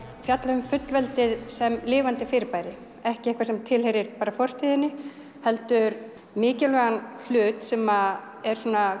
fjalla um fullveldið sem lifandi fyrirbæri ekki eitthvað sem tilheyrir bara fortíðinni heldur mikilvægan hlut sem er